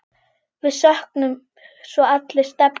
Við söknum svo allir Stebba.